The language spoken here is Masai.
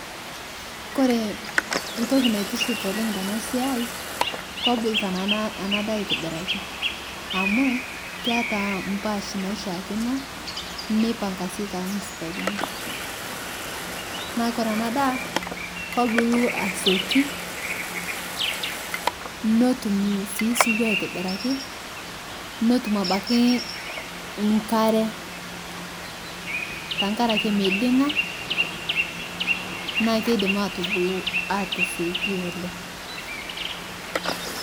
Koree entoki naitiship oleng tenasiai kobo enadaa aitobiraki amu keeta mpaash naishakino nipanga si tormustarini na koree enadaa kebulu asieki netum si osiwuo aitobiraki netum abaki nkare tenkaraki midinga na kidim atasieki oleng.